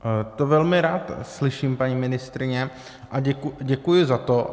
To velmi rád slyším, paní ministryně, a děkuji za to.